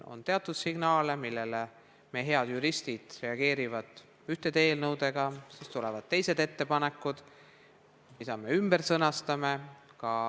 On teatud signaale, millele meie head juristid reageerivad ühtede eelnõudega ja siis tulevad teised ettepanekud, mida me ümber sõnastame.